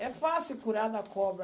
É fácil curar da cobra.